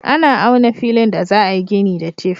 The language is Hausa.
Ana auna filin da za a yi gini da tif.